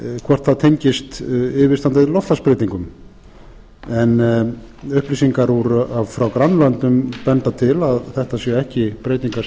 hvort það tengist yfirstandandi loftslagsbreytingum en upplýsingar frá grannlöndum benda til að þetta séu ekki breytingar